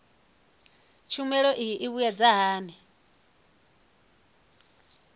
tshumelo iyi i mbuyedza hani